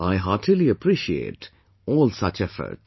I heartily appreciate all such efforts